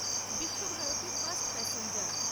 Visva Bharati first passenger